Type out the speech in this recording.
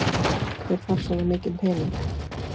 Hver þarf svona mikinn pening?